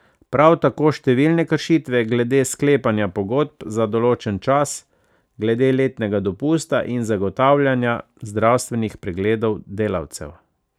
Prav tako številne kršitve glede sklepanja pogodb za določen čas, glede letnega dopusta in zagotavljanja zdravstvenih pregledov delavcem.